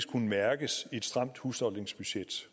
kunne mærkes i et stramt husholdningsbudget